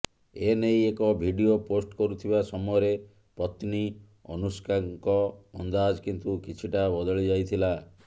ଏନେଇ ଏକ video post କରୁଥିବା ସମୟରେ ପତ୍ନୀ ଅନୁଷ୍କାଙ୍କ ଅନ୍ଦାଜ କିନ୍ତୁ କିଛିଟା ବଦଳି ଯାଇଥିଲା